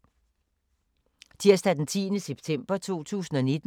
Tirsdag d. 10. september 2019